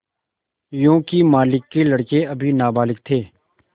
योंकि मालिक के लड़के अभी नाबालिग थे